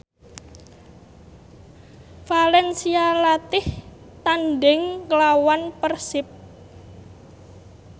valencia latih tandhing nglawan Persib